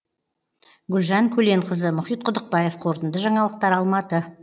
гүлжан көленқызы мұхит құдықбаев қорытынды жаңалықтар алматы